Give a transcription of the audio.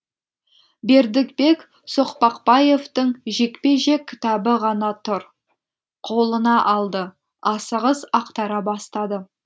бердібек соқпақбаевтың жекпе жек кітабы ғана тұр қолына алды асығыс ақтара бастады